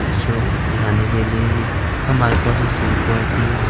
Show दिखाने के लिए भी हमारे पास एसी क्वालिटी है ।